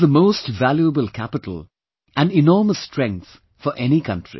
This is the most valuable capital and enormous strength for any country